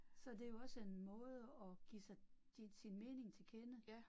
Så det jo også en måde at give sig give sin mening til kende